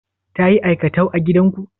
Ta yi aikatau a gidanku?